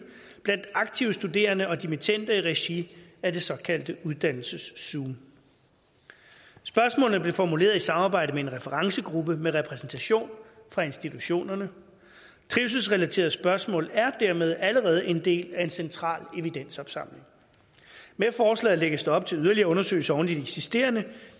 blandt aktive studerende og dimittender i regi af det såkaldte uddannelseszoom spørgsmålene blev formuleret i samarbejde med en referencegruppe med repræsentation fra institutionerne trivselsrelaterede spørgsmål er dermed allerede en del af en central evidenopsamling med forslaget lægges der op til yderligere undersøgelser oven i de eksisterende og